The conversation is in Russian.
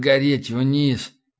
гореть вниз